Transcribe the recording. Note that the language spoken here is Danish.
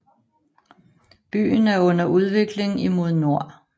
Byen er under udvikling imod nord